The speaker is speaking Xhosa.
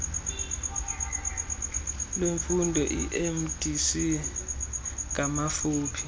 lwemfundo iiemdc ngamafuphi